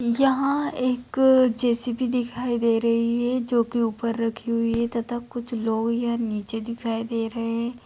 यहाँ एक जे.सी.बी. दिखाई दे रही है जो की ऊपर रखी हुई है तथा कुछ लोग यहाँ नीचे दिखाई दे रहे है।